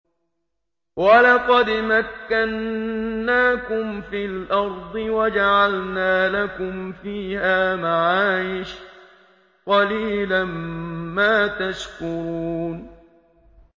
وَلَقَدْ مَكَّنَّاكُمْ فِي الْأَرْضِ وَجَعَلْنَا لَكُمْ فِيهَا مَعَايِشَ ۗ قَلِيلًا مَّا تَشْكُرُونَ